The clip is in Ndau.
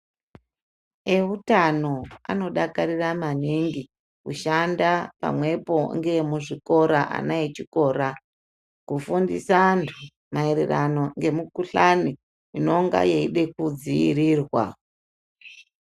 Eutano anodakarira maningi kushanda pamwepo ngeemuzvikora ana echikora, kufundisa antu maererano ngemikuhlani inonga yeida kudziirirwa.